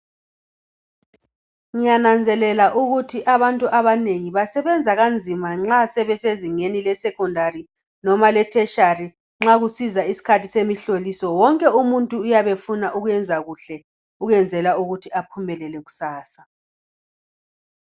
Ngiyananzelela ukuthi abantu abanengi basebenza kanzima nxa sebesezingeni le secondary loba e tertiary. Nxa kusiza isikhathi semihloliso wonke umuntu uyabe efuna ukwenza kuhle ukwenzela ukuthi aphumelele kusasa